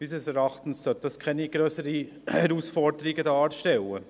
Unseres Erachtens sollte das keine grösseren Herausforderungen darstellen.